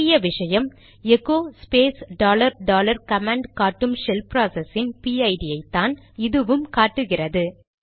முக்கிய விஷயம் echo space dollar dollar command காட்டும் ஷெல் ப்ராசஸ் இன் பிஐடிPID ஐ தான் இதுவும் காட்டுகிறது